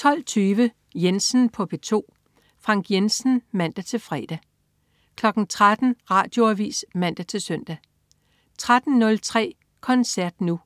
12.20 Jensen på P2. Frank Jensen (man-fre) 13.00 Radioavis (man-søn) 13.03 Koncert Nu.